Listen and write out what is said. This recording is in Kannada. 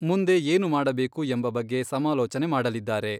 ಮುಂದೆ ಏನು ಮಾಡಬೇಕು ಎಂಬ ಬಗ್ಗೆ ಸಮಾಲೋಚನೆ ಮಾಡಲಿದ್ದಾರೆ.